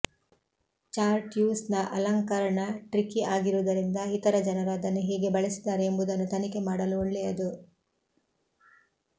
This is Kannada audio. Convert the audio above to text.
ಚಾರ್ಟ್ರ್ಯೂಸ್ನ ಅಲಂಕರಣ ಟ್ರಿಕಿ ಆಗಿರುವುದರಿಂದ ಇತರ ಜನರು ಅದನ್ನು ಹೇಗೆ ಬಳಸಿದ್ದಾರೆ ಎಂಬುದನ್ನು ತನಿಖೆ ಮಾಡಲು ಒಳ್ಳೆಯದು